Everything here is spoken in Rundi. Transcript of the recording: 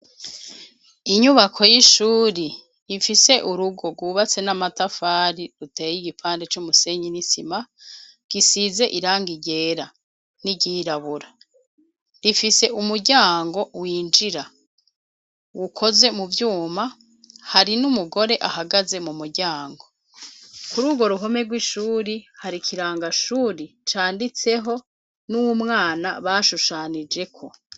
Inyubako y'ishuri rifise urugo rwubatse n'amatafari ruteye igipande c'umusenyi n'isima, gisize iranga ryera n'iryirabura, rifise umuryango winjira ukozwe mu vyuma, hari n'umugore ahagaze mu muryango, kuri urwo ruhome rw'ishuri hari kirangashuri canditseho n'umwana bashushanijeko.